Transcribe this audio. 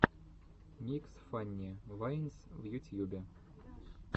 микс фанни вайнс в ютьюбе